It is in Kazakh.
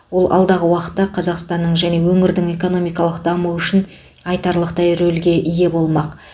ол алдағы уақытта қазақстанның және өңірдің экономикалық дамуы үшін айтарлықтай рөлге ие болмақ